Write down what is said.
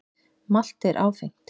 Malt er áfengt.